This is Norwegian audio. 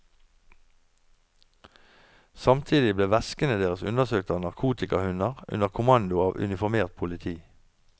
Samtidig ble veskene deres undersøkt av narkotikahunder under kommando av uniformert politi.